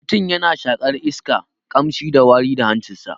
Mutum yana shaƙan iska, ƙamshi da wari ta hancin sa.